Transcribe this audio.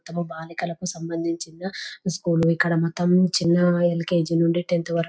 తమ బాలికలకు సంబంధించిన స్కూలు ఇక్కడ మొత్తం చిన్న ఎల్కేజీ నుంచి టెన్త్ వరకు--